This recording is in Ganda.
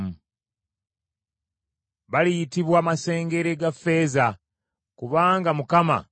Baliyitibwa masengere ga ffeeza, kubanga Mukama abalese.”